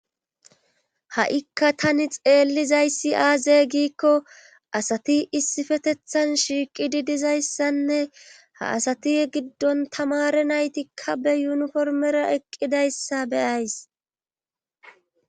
Ha'ikka tani xeellizayssi aaze giikko asati issifetethan shiiqidi dizayssanne ha asati giddon tamare naytikka be yuniformera eqqidayssa beyays.